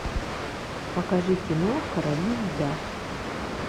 покажи кино короли льда